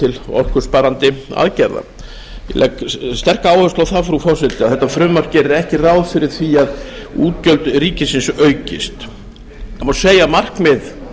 til orkusparandi aðgerða ég legg sterka áherslu á það frú forseti að þetta frumvarp gerir ekki ráð fyrir því að útgjöld ríkisins aukist það má segja að markmið